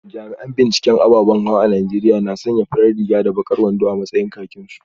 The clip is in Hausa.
Jami’an binciken ababan hawa a Najeriya na sanya farar riga da bakar wando a matsayin kakinsu